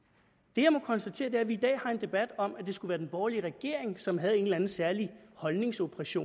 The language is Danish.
det jeg må konstatere er at vi i dag har en debat om at det skulle være den borgerlige regering som havde en eller anden særlig holdningsundertrykkelse